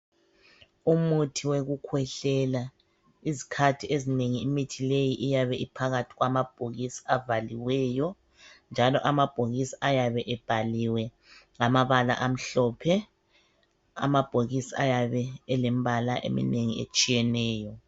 Umuthi wokukhwehlela izikhathi ezinengi imithi leyi iyabe iphakathi kwamabhokisi avaliweyo njalo amabhokisi ayabe ebhaliwe ngamabala amhlophe. Amabhokisi ayabe elemibala eminengi etshiyeneyo.